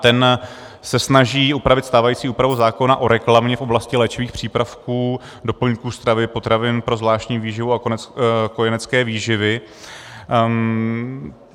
Ten se snaží upravit stávající úpravu zákona o reklamě v oblasti léčivých přípravků, doplňků stravy, potravin pro zvláštní výživu a kojenecké výživy.